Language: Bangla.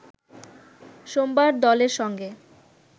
সোমবার দলের সঙ্গে